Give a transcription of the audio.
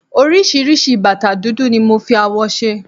oríṣiríṣi bàtà dúdú ni mo fi awọ ṣe